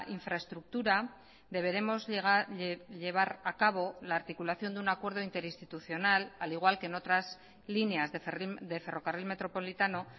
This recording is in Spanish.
infraestructura deberemos llevar a cabo la articulación de un acuerdo interinstitucional al igual que en otras líneas de ferrocarril metropolitano